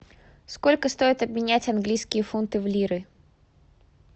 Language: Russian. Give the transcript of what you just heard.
сколько стоит обменять английские фунты в лиры